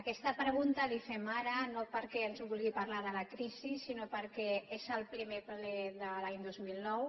aquesta pregunta la hi fem ara no perquè ens vulgui parlar de la crisi sinó perquè és el primer ple de l’any dos mil nou